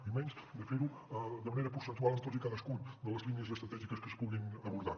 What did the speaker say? i menys de fer·ho de manera percentual amb totes i cadascuna de les línies estratègiques que es puguin abordar